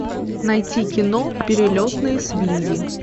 найти кино перелетные свиньи